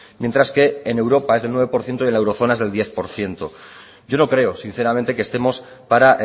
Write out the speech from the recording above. mientras que en europa es de nueve por ciento y en la eurozona es del diez por ciento yo no creo sinceramente que estemos para